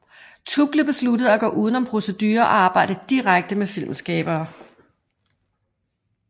Tuggle besluttede at gå uden om producere og arbejde direkte med filmskabere